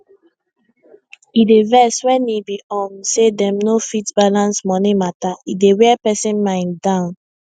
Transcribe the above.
e dey vex wen e be um say dem no fit balance money mata e dey wear person mind down